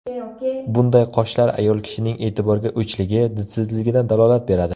Bunday qoshlar ayol kishining e’tiborga o‘chligi, didsizligidan dalolat beradi.